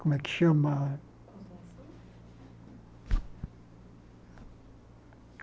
Como é que chama?